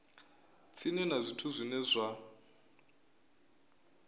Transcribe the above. tsini na zwithu zwine zwa